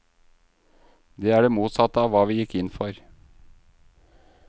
Det er det motsatte av hva vi gikk inn for.